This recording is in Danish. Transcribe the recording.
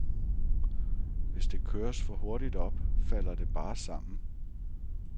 Hvis det køres for hurtigt op, falder det bare sammen.